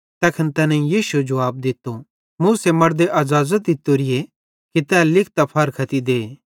तैखन तैनेईं यीशुए जुवाब दित्तो मूसे मड़दे अज़ाज़त दित्तोरीए कि तै लिखतां फारख्ती दे